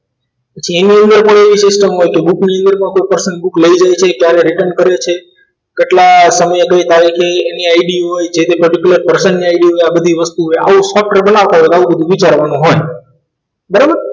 પછી એમાં એવી પણ system હોય book ની જોડે કોઈ personal book લઈ જાય છે ક્યારે return કરે છે કેટલા સમયે કઈ તારીખે એની id હોય જે તે particular person ની id હોય આ બધી વસ્તુઓ હોય આવો શક્ર બનાવતા હોય તો આવું બધું વિચારવાનું હોય બરાબર